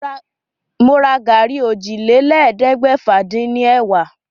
Mo ra gàrí ọ́jilélẹ́ẹ̀ẹ́dẹ́gbẹ́fà-dín-ní- ẹ̀wá.